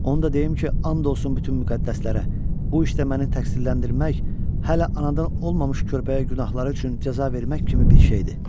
Onu da deyim ki, and olsun bütün müqəddəslərə, bu işdə məni təqsirləndirmək hələ anadan olmamış körpəyə günahları üçün cəza vermək kimi bir şeydir.